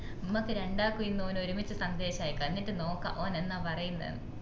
മ്മക്ക് രണ്ടാക്കും ഇന്ന് ഓന് ഓർമിച്ച സന്ദേശം അയക്ക എന്നിറ്റ് നോക്ക ഓൻ എന്ന പറയുന്ന ന്ന്